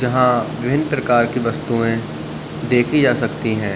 यहाँ बिविंन्न प्रकार की वस्तुयें देखि जा सकती हैं।